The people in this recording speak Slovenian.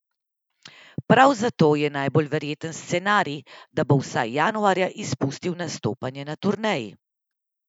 Prav zato je najbolj verjeten scenarij, da bo vsaj januarja izpustil nastopanje na turneji.